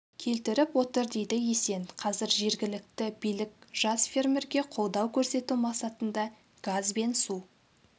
келтіріп отыр дейді есен қазір жергілікті билік жас фермерге қолдау көрсету мақсатында газ бен су